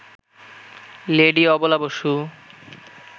lady Abala Basu